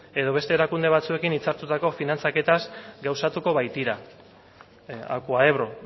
edo beste erakunde batzuekin hitzartutako finantzaketaz gauzatuko bait dira acuaebro